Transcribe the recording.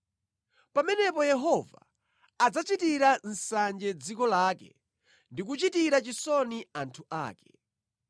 Pamenepo Yehova adzachitira nsanje dziko lake ndi kuchitira chisoni anthu ake.